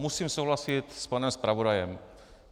Musím souhlasit s panem zpravodajem.